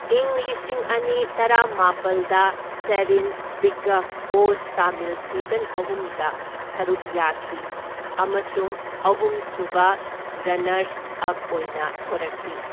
ꯢꯪ ꯂꯤꯁꯤꯡ ꯑꯅꯤ ꯇꯔꯥꯃꯥꯄꯜꯗ Sherin Bigg Boss Tamil season ꯑꯍꯨꯝꯗ ꯁꯔꯨꯛ ꯌꯥꯈꯤ ꯑꯃꯁꯨꯡ ꯑꯍꯨꯝ ꯁꯨꯕ ꯔꯟꯅꯔꯁ ꯑꯞ ꯑꯣꯏꯅ ꯊꯣꯔꯛꯈꯤ꯫